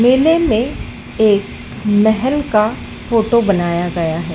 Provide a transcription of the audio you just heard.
मेले में एक महेल का फोटो बनाया गया है।